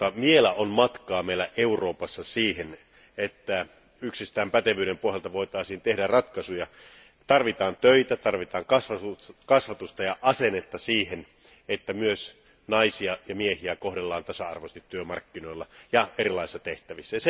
Mutta vielä on matkaa meillä Euroopassa siihen, että yksistään pätevyyden pohjalta voitaisiin tehdä ratkaisuja. Tarvitaan töitä, tarvitaan kasvatusta ja asennetta siihen, että naisia ja miehiä kohdellaan tasa arvoisesti työmarkkinoilla ja erilaisissa tehtävissä.